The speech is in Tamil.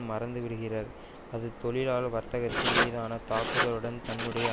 மறந்துவிடுகிறர் அது தொழிலாள வர்க்கத்தின் மீதான தாக்குதளுடன் தன்னுடைய